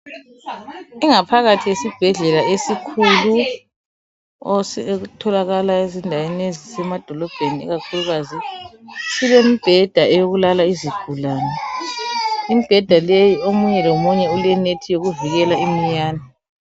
Ingaphakathi yesibhedlela esikhulu etholakala ezindaweni ezisemadolobheni ikakhulukazi, silembheda eyokulala izigulane imbheda leyi omunye lomunye ulenethi yokuvikela iminyane.